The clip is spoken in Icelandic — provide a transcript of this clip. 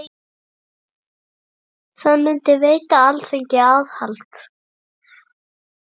Það myndi veita Alþingi aðhald.